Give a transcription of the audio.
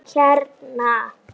Hann er hérna.